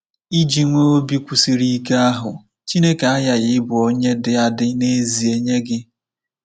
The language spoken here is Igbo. Iji nwee obi kwụsịrị ike ahụ, Chineke aghaghị ịbụ onye dị adị n’ezie nye gị!